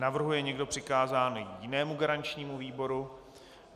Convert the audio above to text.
Navrhuje někdo přikázání jinému garančnímu výboru?